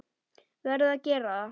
Verð að gera það.